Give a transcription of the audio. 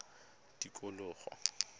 tikologo